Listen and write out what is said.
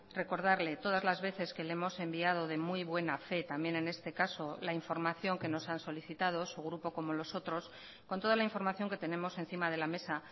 recordarle todas las veces que le hemos enviado de muy buena fe también en este caso la información que nos han solicitado su grupo como los otros con toda la información que tenemos encima de la mesa